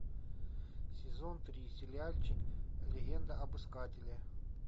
сезон три сериальчик легенда об искателе